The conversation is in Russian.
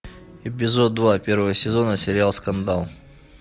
эпизод два первого сезона сериал скандал